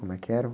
Como é que eram?